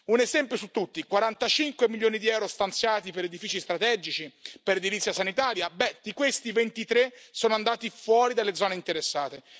Un esempio su tutti su 45 milioni di euro stanziati per edifici strategici, per edilizia sanitaria, 23 sono andati fuori dalle zone interessate.